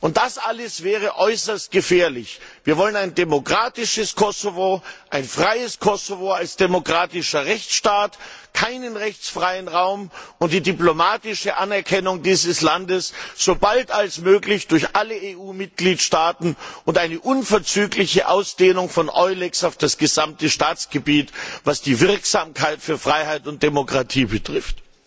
Und das alles wäre äußerst gefährlich. Wir wollen ein demokratisches Kosovo, ein freies Kosovo als demokratischen Rechtsstaat, keinen rechtsfreien Raum, und die diplomatische Anerkennung dieses Landes so bald als möglich durch alle EU Mitgliedstaaten und eine unverzügliche Ausdehnung von EULEX auf das gesamte Staatsgebiet, was die Wirksamkeit für Freiheit und Demokratie betrifft.